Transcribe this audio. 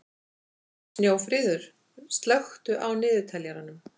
Snjófríður, slökktu á niðurteljaranum.